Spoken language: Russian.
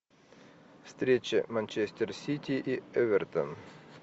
встреча манчестер сити и эвертон